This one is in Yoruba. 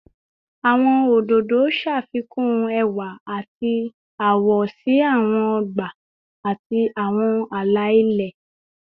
Awọn ododo ṣafikun ẹwa ati awọ si awọn ọgba ati awọn ala-ilẹ